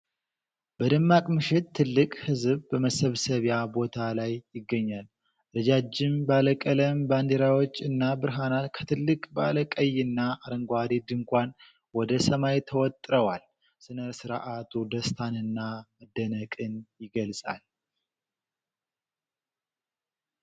በደማቅ ምሽት፣ ትልቅ ሕዝብ በመሰብሰቢያ ቦታ ላይ ይገኛል። ረጃጅም ባለቀለም ባንዲራዎች እና ብርሃናት ከትልቅ ባለ ቀይና አረንጓዴ ድንኳን ወደ ሰማይ ተወጥረዋል። ሥነ ሥርዓቱ ደስታንና መደነቅን ይገልጻል።